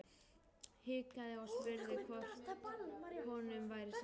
Hikaði og spurði hvort honum væri sama.